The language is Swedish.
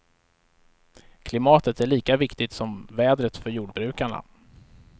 Klimatet är lika viktigt som vädret för jordbrukarna.